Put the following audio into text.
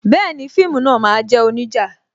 Bẹẹni, fíìmù náà máa jẹ́ onija